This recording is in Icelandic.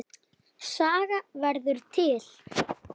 Saga verður til